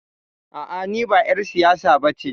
A'a, ni ba ƴar siyasa ba ce.